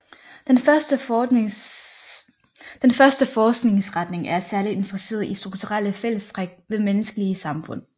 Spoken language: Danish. Den første forskningsretning er særligt interesseret i strukturelle fællestræk ved menneskelige samfund